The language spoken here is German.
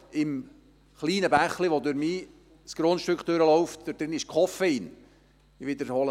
In dem kleinen Bächlein, das mein Grundstück durchfliesst, ist Koffein drin.